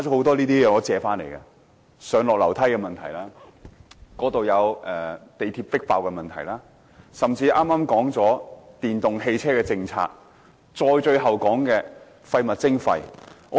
他們提到上、下樓梯的問題、地鐵迫爆的問題、甚至剛剛討論了電動汽車政策，以及最後討論的廢物徵費。